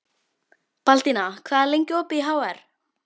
Baldína, hvað er lengi opið í HR?